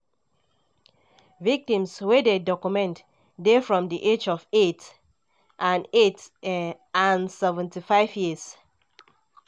victims wey dem document dey from di age of eight and eight and 75 years.